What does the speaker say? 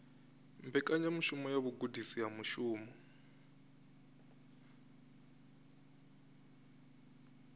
mbekanyamushumo ya vhugudisi ha mushumo